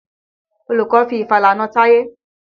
Olùkọ́ fi ìfàlà na Táyé.